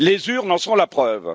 Les urnes en sont la preuve.